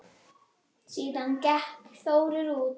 Hélt ró sinni sem fyrr.